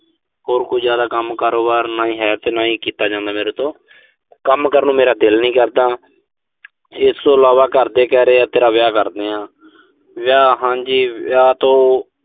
ਹੋਰ ਕੋਈ ਜ਼ਿਆਦਾ ਕੰਮ, ਕਾਰੋਬਾਰ ਨਾ ਹੀ ਹੈ ਤੇ ਨਾ ਹੀ ਕੀਤਾ ਜਾਂਦਾ ਮੇਰੇ ਤੋਂ। ਕੰਮ ਕਰਨ ਨੂੰ ਮੇਰਾ ਦਿਲ ਨੀਂ ਕਰਦਾ। ਇਸ ਤੋਂ ਇਲਾਵਾ ਘਰ ਦੇ ਕਹਿ ਰਹੇ ਆ, ਤੇਰਾ ਵਿਆਹ ਕਰ ਦਿੰਨੇ ਆਂ। ਵਿਆਹ ਹਾਂਜੀ, ਵਿਆਹ ਤੋਂ